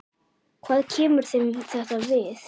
Hvað kemur þeim þetta við?